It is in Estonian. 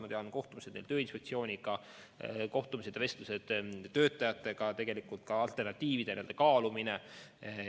Ma tean, et oli kohtumisi Tööinspektsiooniga, olid kohtumised ja vestlused töötajatega, ka alternatiivide kaalumine.